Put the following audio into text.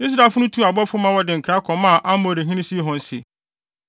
Israelfo no tuu abɔfo ma wɔde nkra kɔmaa Amorihene Sihon se: